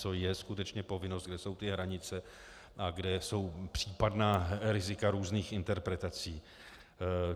Co je skutečně povinnost, kde jsou ty hranice a kde jsou případná rizika různých interpretací.